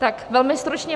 Tak velmi stručně.